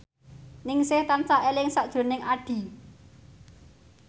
Ningsih tansah eling sakjroning Addie